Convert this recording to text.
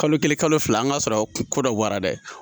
Kalo kelen kalo fila an ka sɔrɔ ko dɔ bɔra dɛ.